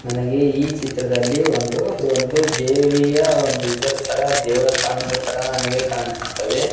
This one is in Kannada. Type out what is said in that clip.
ನನಗೆ ಈ ಚಿತ್ರದಲ್ಲಿ ಒಂದು ಒಂದು ದೇವಿಯ ಒಂದು ಇದರ್ತರ ದೇವಸ್ತಾನದ ತರ ನನಗೆ ಕಾಣಿಸುತ್ತದೆ.